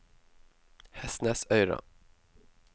Hestnesøyra